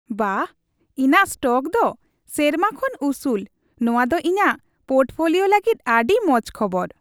ᱵᱟᱦ , ᱤᱧᱟᱜ ᱥᱴᱚᱠ ᱫᱚ ᱥᱮᱨᱢᱟ ᱥᱚᱢᱟᱱ ᱩᱥᱩᱞ ! ᱱᱚᱣᱟ ᱫᱚ ᱤᱧᱟᱜ ᱯᱳᱨᱴᱯᱷᱳᱞᱤᱭᱳ ᱞᱟᱹᱜᱤᱫ ᱟᱹᱰᱤ ᱢᱚᱡ ᱠᱷᱚᱵᱚᱨ ᱾